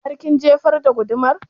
Har kin jefar da gudumar?